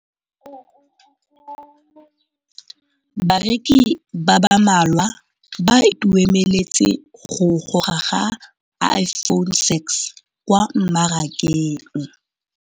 Bareki ba ba malwa ba ituemeletse go gôrôga ga Iphone6 kwa mmarakeng.